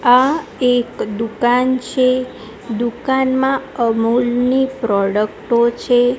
આ એક દુકાન છે દુકાનમાં અમૂલની પ્રોડક્ટો છે.